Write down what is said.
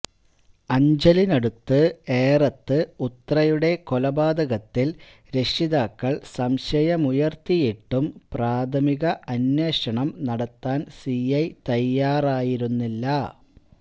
അഞ്ചലിനടുത്ത് ഏറത്ത് ഉത്രയുടെ കൊലപാതകത്തില് രക്ഷിതാക്കള് സംശയമുയര്ത്തിയിട്ടും പ്രാഥമിക അന്വേഷണം നടത്താന് സിഐ തയ്യാറായിരുന്നില്ല